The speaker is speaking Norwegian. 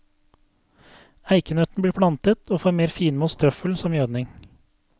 Eikenøtten blir plantet og får mer finmost trøffel som gjødning.